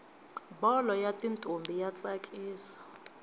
bholo yatintombi yatsakisa